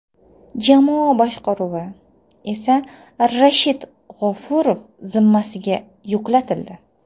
Jamoa boshqaruvi esa Rashid G‘ofurov zimmasiga yuklatildi.